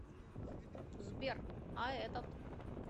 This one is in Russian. сбер а этот